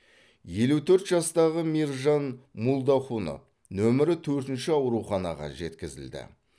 елу төрт жастағы мейіржан мулдахунов нөмірі төртінші ауруханаға жеткізілді